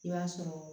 I b'a sɔrɔ